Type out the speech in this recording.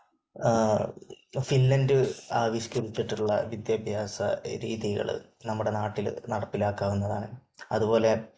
Finland ആവിഷ്കരിച്ചിട്ടുള്ള വിദ്യാഭ്യാസ രീതികള് നമ്മുടെ നാട്ടില് നടപ്പിലാക്കാവുന്നതാണ്. അത്പോലെ